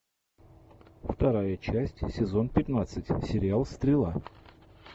вторая часть сезон пятнадцать сериал стрела